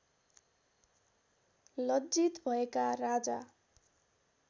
लज्जित भएका राजा